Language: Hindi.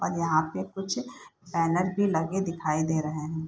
और यहाँ पे कुछ बैनर भी लगे दिखाई दे रहें हैं।